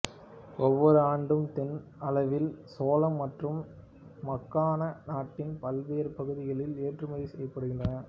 ஒவ்வொரு ஆண்டும் தொன் அளவில் சோளம் மற்றும் மக்கானா நாட்டின் பல்வேறு பகுதிகளுக்கு ஏற்றுமதி செய்யப்படுகின்றன